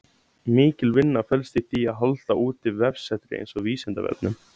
Mikil vinna felst í því að halda úti vefsetri eins og Vísindavefnum.